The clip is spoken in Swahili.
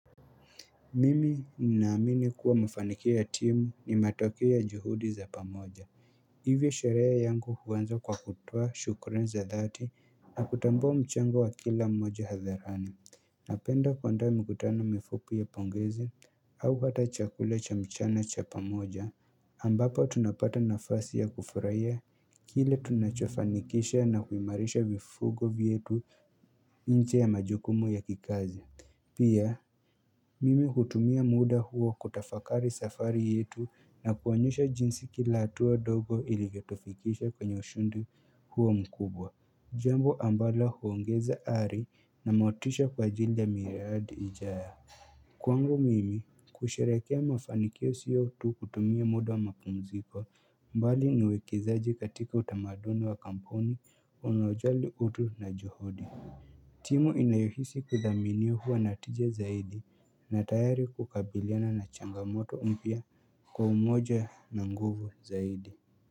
Mimi ninaamini kuwa mafanikio ya timu ni matokeo ya juhudi za pamoja Hivyo sherehe yangu huanza kwa kutoa shukurani za dhati na kutambua mchango wa kila mmoja hadharani Napenda kuenda mikutano mifupi ya pongezi au hata chakula cha mchana cha pamoja ambapo tunapata nafasi ya kufurahia Kile tunachofanikisha na kuimarisha mifugo wetu inje ya majukumu ya kikazi Pia, mimi hutumia muda huo kutafakari safari yetu na kuonyesha jinsi kila hatua ndogo ilivyo tufikisha kwenye ushindi huo mkubwa, jambo ambala huongeza ari na motisha kwa ajili ya miradi ijayo. Kwangu mimi, kusherehekea mafanikio sio tu kutumia muda wa mapumziko mbali ni uwekezaji katika utamaduni wa kampuni inayojali utu na juhudi. Timu inayohisi kuthamini huwa na tija zaidi na tayari kukabiliana na changamoto umpia kwa umoja na nguvu zaidi.